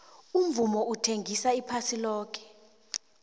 umvumo uthengisa iphasi loke